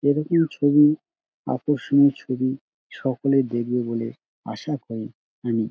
এরকম ছবি আকর্ষণীয় ছবি সকলে দেখবে বলে আশা করি আমি।